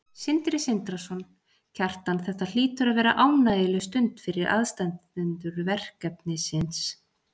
Sindri Sindrason: Kjartan þetta hlýtur að vera ánægjuleg stund fyrir aðstandendur verkefnisins?